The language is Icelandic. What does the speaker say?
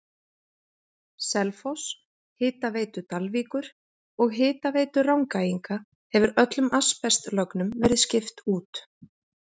Selfoss, Hitaveitu Dalvíkur og Hitaveitu Rangæinga hefur öllum asbestlögnum verið skipt út.